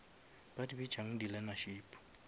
ba di bitšang di learnership